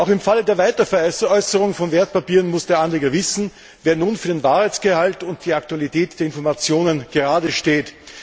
Im Fall der Weiterveräußerung von Wertpapieren muss der Anleger wissen, wer nun für den Wahrheitsgehalt und die Aktualität der Informationen geradesteht.